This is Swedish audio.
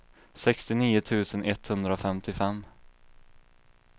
sextionio tusen etthundrafemtiofem